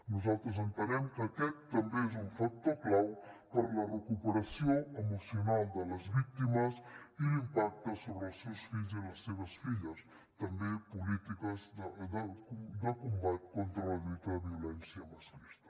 nosaltres entenem que aquest també és un factor clau per a la recuperació emocional de les víctimes i l’impacte sobre els seus fills i les seves filles també polítiques de combat contra la lluita de violència masclista